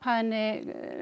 henni